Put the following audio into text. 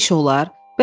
Belə də iş olar?